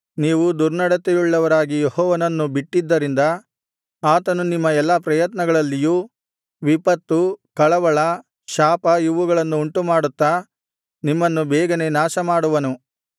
ನೀವು ದುರ್ನಡತೆಯುಳ್ಳವರಾಗಿ ಯೆಹೋವನನ್ನು ಬಿಟ್ಟಿದ್ದರಿಂದ ಆತನು ನಿಮ್ಮ ಎಲ್ಲಾ ಪ್ರಯತ್ನಗಳಲ್ಲಿಯೂ ವಿಪತ್ತು ಕಳವಳ ಶಾಪ ಇವುಗಳನ್ನು ಉಂಟುಮಾಡುತ್ತಾ ನಿಮ್ಮನ್ನು ಬೇಗನೆ ನಾಶಮಾಡುವನು